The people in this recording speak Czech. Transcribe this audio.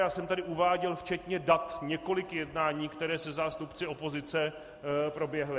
Já jsem tady uváděl včetně dat několik jednání, která se zástupci opozice proběhla.